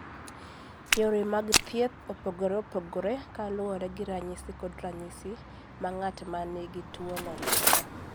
Yore mag thieth opogore opogore kaluwore gi ranyisi kod ranyisi ma ng'at ma nigi tuwono nigo.